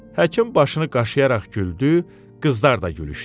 Həkim başını qaşıyaraq güldü, qızlar da gülüşdü.